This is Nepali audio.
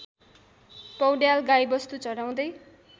पौड्याल गाईवस्तु चराउँदै